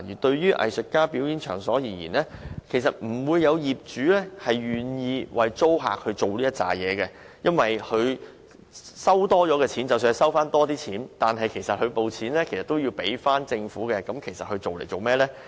對於藝術家表演場所而言，業主往往不會願意為租客辦理上述手續，因為即使因此多收取了金錢，隨後亦要繳交政府，又為何要花工夫呢？